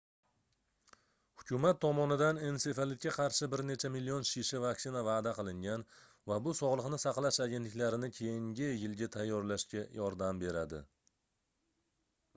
hukumat tomonidan ensefalitga qarshi bir necha million shisha vaksina vaʼda qilingan va bu sogʻliqni saqlash agentliklarini keyingi yilga tayyorlashga yordam beradi